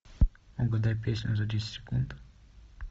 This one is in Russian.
угадай песню за десять секунд